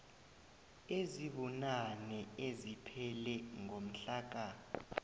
ezibunane eziphele ngomhlaka